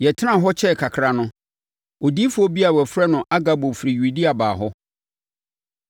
Yɛtenaa hɔ kyɛɛ kakra no, odiyifoɔ bi a wɔfrɛ no Agabo firi Yudea baa hɔ.